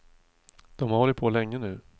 De har hållit på länge nu.